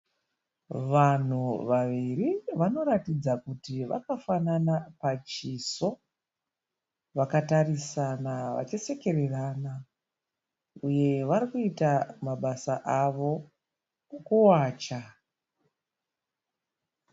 Vanhu vaviri vanoratidza kuti vakafanana pachiso, vakatarisana vachisekererana, varikuita mabasa avo ekuwacha.